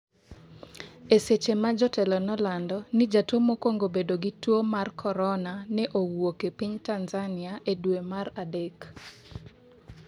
eseche ma jotelo ne olando ni jatuo mokwongo bedo gi tuo mar korona ne owuok e piny Tanzania e dwe mar adek